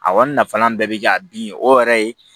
A kɔni nafalan bɛɛ bɛ kɛ a bin o yɛrɛ ye